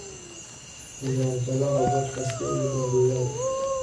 ciyaar jalango podcast-kii ugu dambeeyay